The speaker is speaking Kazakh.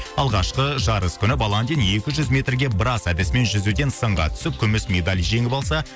алғашқы жарыс күні баландин екі жүз метрге брас әдісімен жүзуден сынға түсіп күміс медаль жеңіп алса